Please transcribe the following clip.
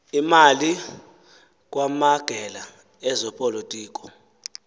imali kwamagela ezopolitiko